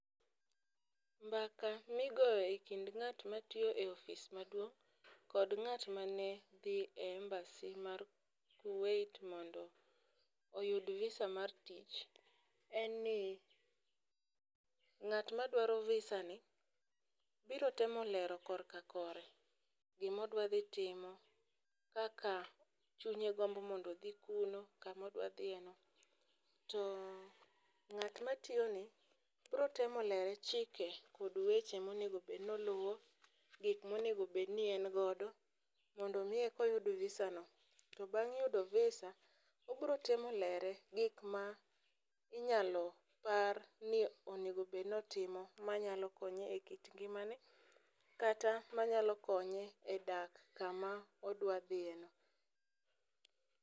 Mbaka migoyo e kind ng'at matiyo e ofis maduong' kod ng'at mane dhi embasy mar kuwait mondo oyud visa mar tich en ni ng'at madwaro visa ni biro temo lero korka kore gimodwa dhi timo ,kaka chunye gombo mondo odhi kuno, kumo dwa dhiye no.To ng'at matiyo ne bro temo lere chike kod weche monego bed ni oluwo gik monego bed ni en godo mondo mi eko koyudo visa no .To bang' yudo visa obro temo lere gik ma inyalo par ni onego bed ni otimo manyalo konye e kit ngimane kata manyalo konye e dak kuma odwa dhiye no.